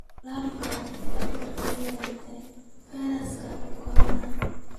Laba dhakhtar ayaa u dhintay fayraska corona.